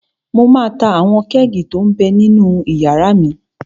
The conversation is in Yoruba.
Mo máa ta àwọn kẹ́ẹ̀gì tó m bẹ ninú yàrá mi